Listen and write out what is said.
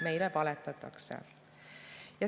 Meile valetatakse.